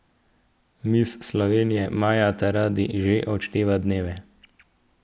Miss Slovenije Maja Taradi že odšteva dneve.